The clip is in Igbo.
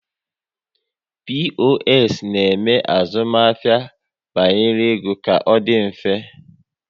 POS na eme azụmahịa banyere ego ka ọ dị mfe